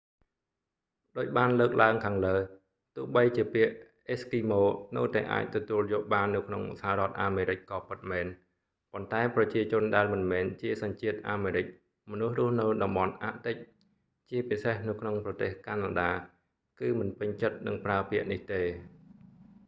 ដូចបានលើកឡើងខាងលើ ទោះបីជាពាក្យ eskimo អេស្គីម៉ូ នៅតែអាចទទួលយកបាននៅក្នុងសហរដ្ឋអាមេរិកក៏ពិតមែន ប៉ុន្តែប្រជាជនដែលមិនមែនជាសញ្ជាតិអាមេរិក មនុស្សរស់នៅតំបន់អាក់ទិក ជាពិសេសនៅក្នុងប្រទេសកាណាដា គឺមិនពេញចិត្តនឹងប្រើពាក្យនេះទេ